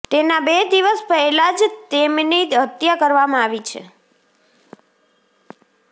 તેના બે દિવસ પહેલાં જ તેમની હત્યા કરવામાં આવી છે